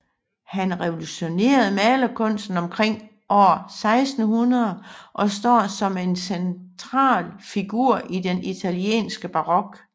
Han revolutionerede malerkunsten omkring år 1600 og står som en central figur i den italienske barok